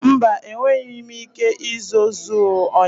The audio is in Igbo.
Mba, enweghị m ike ịzọọ zụọ ịnyịnya.